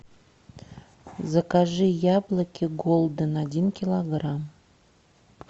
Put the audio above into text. закажи яблоки голден один килограмм